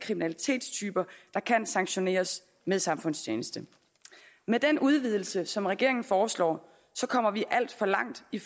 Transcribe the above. kriminalitetstyper der kan sanktioneres med samfundstjeneste med den udvidelse som regeringen foreslår kommer vi alt for langt i